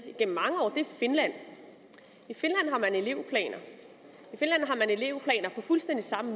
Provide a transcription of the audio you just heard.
er finland i finland har man elevplaner på fuldstændig samme